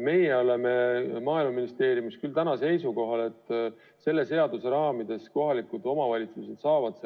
Meie oleme Maaeluministeeriumis küll seisukohal, et selle seaduse raamides kohalikud omavalitsused saavad